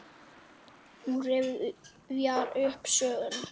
Hún rifjar upp söguna.